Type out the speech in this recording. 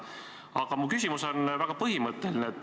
Aga mu küsimus on väga põhimõtteline.